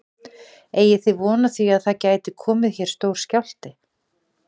Eigið þið von á því að það gæti komið hér stór skjálfti?